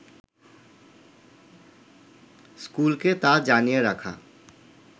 স্কুলকে তা জানিয়ে রাখা